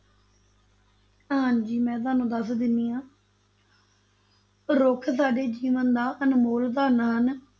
ਹਾਂਜੀ ਮੈਂ ਤੁਹਾਨੂੰ ਦੱਸ ਦਿੰਦੀ ਹਾਂ ਰੁੱਖ ਸਾਡੇ ਜੀਵਨ ਦਾ ਅਨਮੋਲ ਧਨ ਹਨ।